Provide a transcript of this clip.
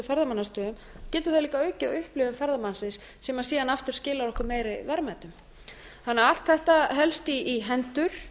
ferðamannastöðum getur líka aukið á upplifun ferðamannsins sem síðan aftur skilar okkur meiri verðmætum þannig að allt þetta helst í hendur